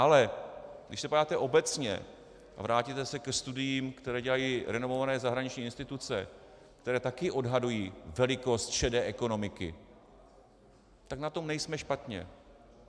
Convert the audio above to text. Ale když se podíváte obecně a vrátíte se ke studiím, které dělají renomované zahraniční instituce, které taky odhadují velikost šedé ekonomiky, tak na tom nejsme špatně.